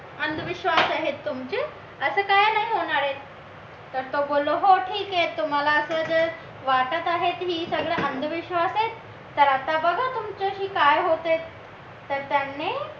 अंधविश्वास आहेत तुमचे असं काही नाही होणार आहे तसं बोललो तर हो ठीक आहे तुम्हाला असं जर वाटत आहे तर हे सगळं अंधविश्वास आहे तर आता बघा तुमच्याशी काय होतंय तर त्याने